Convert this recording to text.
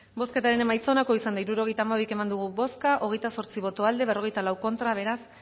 bozketaren emaitza onako izan da hirurogeita hamabi eman dugu bozka hogeita zortzi boto aldekoa cuarenta y cuatro contra beraz